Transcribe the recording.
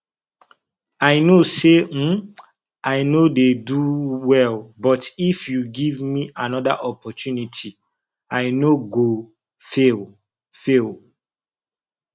i know say um i no do well but if you give me another opportunity i no go fail fail